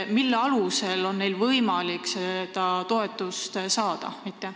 Mille alusel on neil võimalik seda toetust saada?